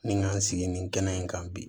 Ni n ka n sigi nin kɛnɛ in kan bi